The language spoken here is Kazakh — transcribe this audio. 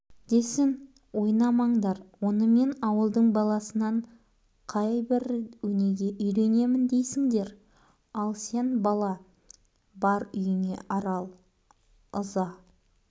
десін ойнамаңдар онымен ауылдың баласынан қайбір өнеге үйренемін дейсіңдер ал сен бала бар үйіңе арал ыза